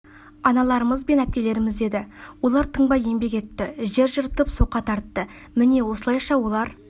аналарымыз бен әпкелеріміз еді олар тынбай еңбек етті жер жыртып соқа тартты міне осылайша олар